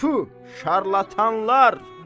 Tüf, şarlatanlar.